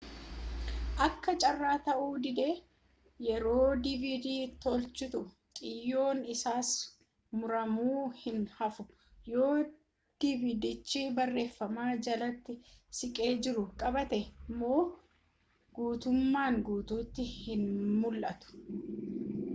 akka carraa ta'uu didee yeroo dvd toolchitu xiyyoon isaas muramuu hin haafu yoo vidiyochi barreeffama jalatti siqee jiru qabaate immoo gutummaan guutuutti hin mul'atu